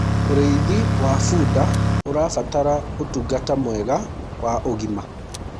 ũrĩithi wa bunda uũrabatara utungata mwega wa ũgima